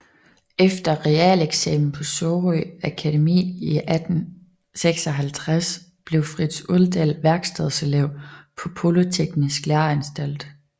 Efter realeksamen fra Sorø Akademi i 1856 blev Frits Uldall værkstedselev på Polyteknisk Læreanstalt